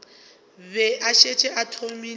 be a šetše a thomile